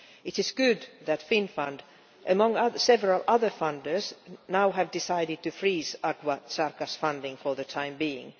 It is good that Finnfund, along with several other funders, has now decided to freeze Agua Zarca's funding for the time being.